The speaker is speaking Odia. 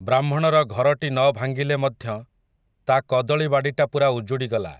ବ୍ରାହ୍ମଣର ଘରଟି ନ ଭାଙ୍ଗିଲେ ମଧ୍ୟ, ତା'କଦଳୀ ବାଡ଼ିଟା ପୁରା ଉଜୁଡ଼ିଗଲା ।